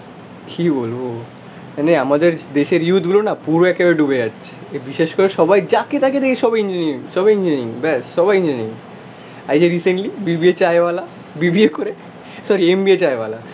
মানে আমাদের দেশের ইউথ গুলো না পুরো একেবারে ডুবে যাচ্ছে এই বিশেষ করে সবাই যাকে তাকে দেখি সবাই ইঞ্জিনিয়ারিং, সবাই ইঞ্জিনিয়ারিং, ব্যাস, সবাই ইঞ্জিনিয়ারিং, এই যে রিসেন্টলি BBA চায়ওয়ালা, BBA করে সরি MBA চায়ওয়ালা